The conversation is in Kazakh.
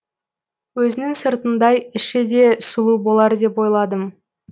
өзінің сыртындай іші де сұлу болар деп ойладым